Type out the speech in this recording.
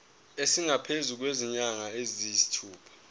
esingaphezu kwezinyanga eziyisithupha